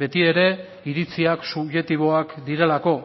beti ere iritziak subjektiboak direlako